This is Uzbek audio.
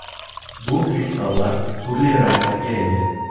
Bu kristallar turli ranglarga ega.